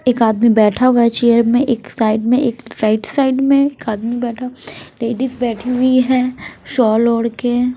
एक आदमी बैठा हुआ है चेयर मे एक साइड में एक राइट साइड मे एक आदमी बैठा लेडिस बैठी हुई है शॉल ओढ़ के--